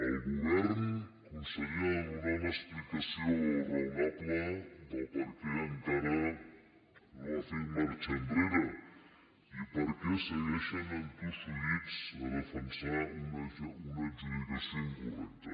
el govern conseller ha de donar una explicació raonable de per què encara no ha fet marxa enrere i per què segueixen entossudits a defensar una adjudicació incorrecta